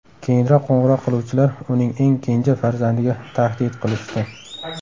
Keyinroq qo‘ng‘iroq qiluvchilar uning eng kenja farzandiga tahdid qilishdi .